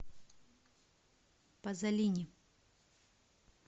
пазолини